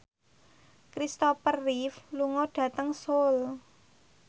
Christopher Reeve lunga dhateng Seoul